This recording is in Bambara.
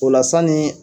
O la sanni